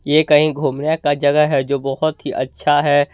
ये कहीं घूमने का जगह है जो बहुत ही अच्छा है।